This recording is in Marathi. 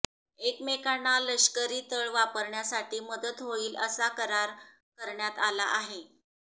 एकमेकांना लष्करी तळ वापरण्यासाठी मदत होईल असा करार करण्यात आला आहे